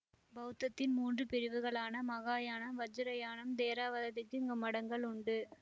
பௌத்தத்தின் மூன்று பிரிவுகளான மகாயாணம் வஜ்ராயணம் தேரவாததிற்கு இங்கு மடங்கள் உண்டு